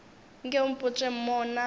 nke o mpotše mo na